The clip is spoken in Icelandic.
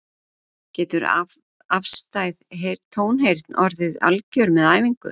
Getur afstæð tónheyrn orðið algjör með æfingu?